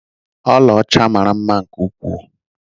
Ọla ọcha mara mma nke ukwuu.